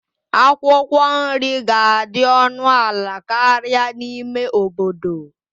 Akwụkwọ nri ga-adị ọnụ ala karịa n'ime obodo.